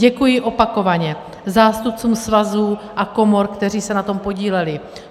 Děkuji opakovaně zástupcům svazů a komor, kteří se na tom podíleli.